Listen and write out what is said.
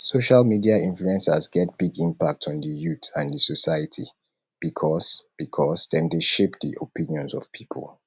social media influencers get big impact on di youth and di society because because dem dey shape di opinions of people